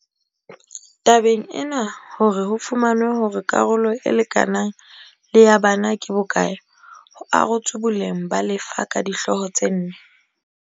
Tabeng ena hore ho fumanwe hore karolo e lekanang le ya bana ke bo kae ho arotswe boleng ba lefa ka dihlooho tse nne